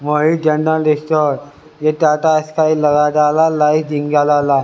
ये टाटा स्काई लगा डाला लाइफ जिंगा लाला।